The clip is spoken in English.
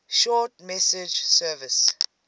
short message service